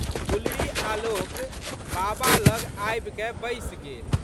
गुलरीआलोक बाबा लग आबिकए बैसि गेल।